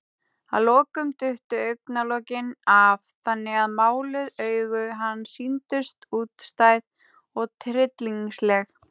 Að lokum duttu augnalokin af, þannig að máluð augu hans sýndust útstæð og tryllingsleg.